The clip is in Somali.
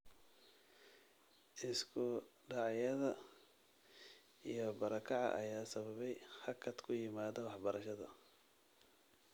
Isku dhacyada iyo barakaca ayaa sababay hakad ku yimaada waxbarashada.